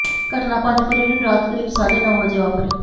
ਘਟਨਾ ਪੰਜ ਫਰਵਰੀ ਨੂੰ ਰਾਤ ਕਰੀਬ ਸਾਢੇ ਨੌਂ ਵਜੇ ਵਾਪਰੀ